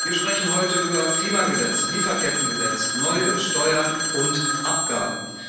Wir sprechen heute über Klimagesetz, Lieferkettengesetz, neue Steuern und Abgaben.